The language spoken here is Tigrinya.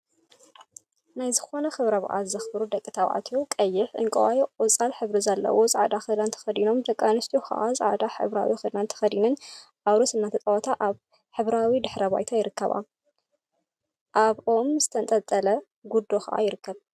ናይ ዝኮነ ክብረ በዓል ዘክብሩ ደቂ ተባዕትዮ ቀይሕ፣ ዕንቋይን ቆፃልን ሕብሪ ዘለዎ ፃዕዳ ክዳን ተከዲኖም ደቂ አንስትዮ ከዓ ፃዕዳ ሕብራዊ ክዳን ተከዲነን አውርሲ እናተፃወታ አብ ሕብራዊ ድሕረ ባይታ ይርከባ። አብ ኦም ዝተንጠልጠለ ጉዶ ከዓ ይርከብ።